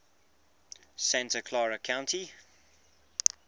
santa clara county